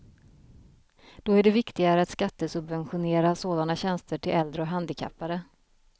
Då är det viktigare att skattesubventionera sådana tjänster till äldre och handikappade.